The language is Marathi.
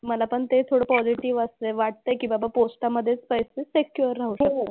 मला पण ते थोडं पॉझिटिव्ह वाटतंय. वाटतंय की बाबा पोस्टामधेच पैसे सिक्युर राहू शकतात.